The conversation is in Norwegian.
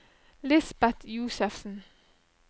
Lisbet Josefsen